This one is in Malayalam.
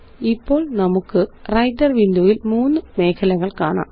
ഇപ്പോള് നമുക്ക്Writer വിൻഡോ യില് മൂന്ന് മേഖലകള് കാണാം